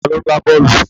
Ta ló ń gbá bọ́ọ̀lù?